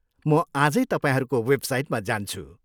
म आजै तपाईँहरूको वेबसाइटमा जान्छु।